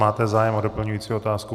Máte zájem o doplňující otázku?